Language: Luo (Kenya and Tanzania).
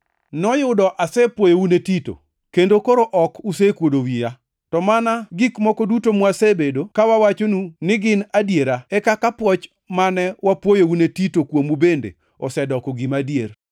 Noyudo asepwoyou ne Tito, kendo koro ok usekuodo wiya. To mana gik moko duto mwasebedo ka wawachonu gin adiera e kaka pwoch mane wapwoyou ne Tito kuomu bende osedoko gima adier.